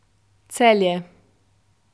Celje.